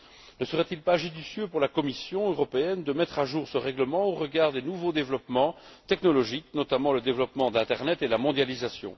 Ne serait il pas judicieux pour la Commission européenne de mettre à jour ce règlement au regard des nouveaux développements technologiques, notamment le développement de l'internet et la mondialisation?